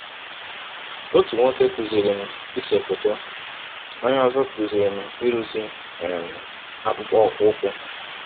Ọtụ nwọke kụziiri m ise fọtọ, onye ọzọ kụziri m ịrụzi um akpụkpọ ụkwụ.